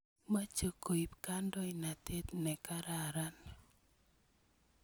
Moche koip kandoinatet ne kararan.